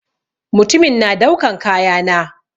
Mutumin na daukan kaya na.